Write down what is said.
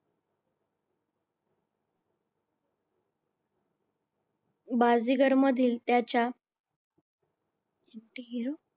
बाजीगरमधील त्याच्या